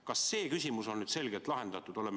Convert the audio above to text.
Kas see küsimus on nüüd selgelt lahendatud?